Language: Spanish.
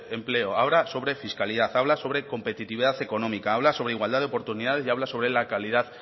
empleo habla sobre fiscalidad habla sobre competitividad económica habla sobre igualdad de oportunidades y habla sobre la calidad